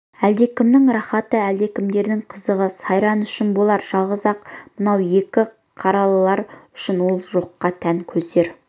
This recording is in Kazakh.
әлдекімнің рақаты әлдекімдердің қызығы сайраны үшін болар жалғыз-ақ мынау екі қаралылар үшін ол жоққа тән көздері